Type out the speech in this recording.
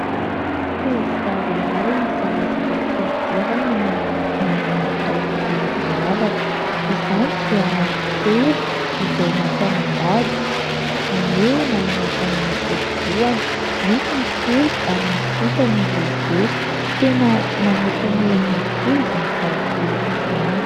Tovovavy iray zarazara fihodirana no nanana taovolo miavaka. Izany dia randran-telo izay natao mandady, izany hoe manaraka ny odi-dohany. Misy ny kely ary misy kosa ny lehibe. Tena mamoaka ny endriny tokoa izany taovolo izany.